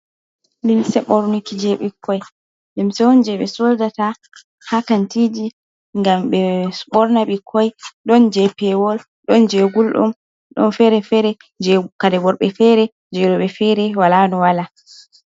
Limse ɓornuki je ɓikkoi limse on jeɓe sodata ha kantiji gam ɓe ɓorna ɓikkoi ɗon je pewol ɗon je guldum ɗon fere-fere je kare worbe fere je roɓɓe fere wala no wala.